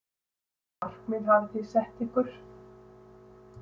Hvaða markmið hafi þið sett ykkur?